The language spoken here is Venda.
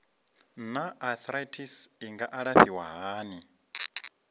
naa arthritis i nga alafhiwa hani